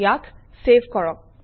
ইয়াক চেভ কৰক